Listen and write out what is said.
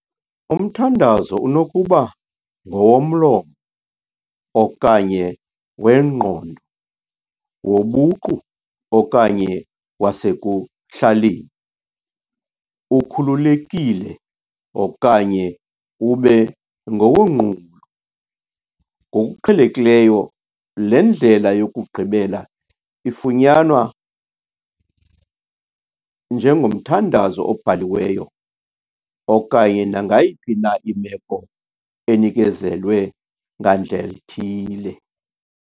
Umthandazo unokuba "ngowomlomo" okanye "wengqondo", "wobuqu" okanye "wasekuhlaleni", "ukhululekile" okanye "ube ngowonqulo", ngokuqhelekileyo le ndlela yokugqibela ifunyanwa njengomthandazo obhaliweyo, okanye nangayiphi na imeko enikezelwe ngandlel' ithile.